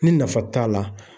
Ni nafa t'a la.